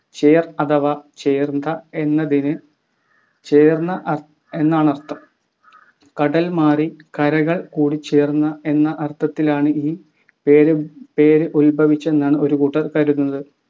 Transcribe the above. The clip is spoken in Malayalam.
ചേർ അഥവാ ചേർന്ത എന്നതിന് ചേർന്ന അ എന്നാണർത്തം കടൽമാറി കരകൾ കൂടിച്ചേർന്ന എന്ന അർത്ഥത്തിലാണ് ഈ പേരു പേരുദ്ഭവിച്ചതെന്നാണ് ഒരു കൂട്ടർ കരുതുന്നത്